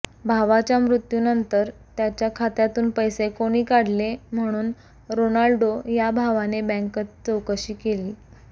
भावाच्या मृत्यूनंतर त्याच्या खात्यातून पैसे कोणी काढले म्हणून रोनाल्डो या भावाने बँकेत चौकशी केली